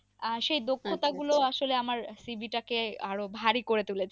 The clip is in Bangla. আহ সে দক্ষতা গুলো আসলে আমার cv টাকে আরো ভারী করে তুলেছে।